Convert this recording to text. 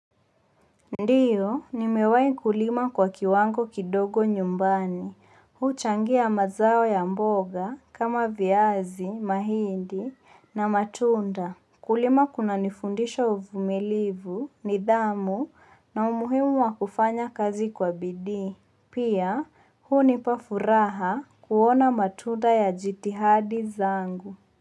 Ndio, nimewahi kulima kwa kiwango kidogo nyumbani. Huchangia mazao ya mboga kama viazi, mahindi na matunda. Kulima kunanifundisha uvumilivu nidhamu na umuhimu wa kufanya kazi kwa bidii. Pia, hunipa furaha kuona matunda ya jitihadi zangu.